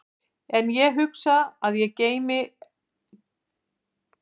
En ég hugsa að ég gleymi ekki þessari æfingu á meðan ég lifi.